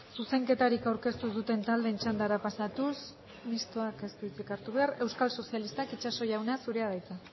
zuzenketarik aurkeztu ez duten taldeen txandara pasatuz mistoak ez du hitzik hartu behar euskal sozialistak itxaso jauna zurea da hitza